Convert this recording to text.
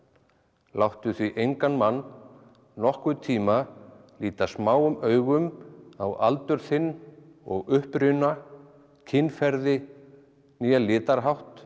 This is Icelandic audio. láttu því engan mann nokkurn tíma líta smáum augum á aldur þinn og uppruna kynferði né litarhátt